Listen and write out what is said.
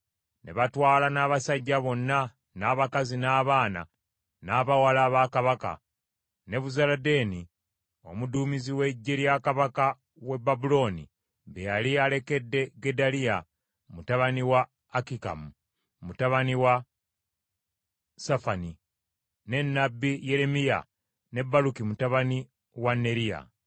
Ne batwala n’abasajja bonna, n’abakazi n’abaana n’abawala ba kabaka, Nebuzaladaani omuduumizi w’eggye lya kabaka w’e Babulooni be yali alekedde Gedaliya mutabani wa Akikamu, mutabani wa Safani, ne nnabbi Yeremiya ne Baluki mutabani wa Neriya.